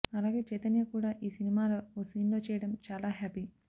అలాగే చైతన్య కూడా ఈ సినిమాలో ఓ సీన్లో చేయడం చాలా హ్యాపీ